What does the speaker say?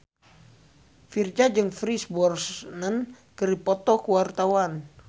Virzha jeung Pierce Brosnan keur dipoto ku wartawan